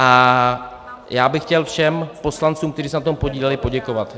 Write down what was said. A já bych chtěl všem poslancům, kteří se na tom podíleli, poděkovat.